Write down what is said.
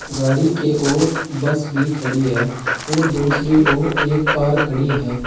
गाड़ी के ओर बस भी खड़ी है ओर दूसरी ओर एक कार खड़ी है।